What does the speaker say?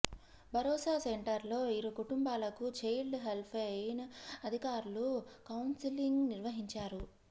భరోసా సెంటర్లో ఇరు కుటుంబాలకు చైల్డ్ హెల్ప్లైన్ అధికారులు కౌన్సెలింగ్ నిర్వహించారు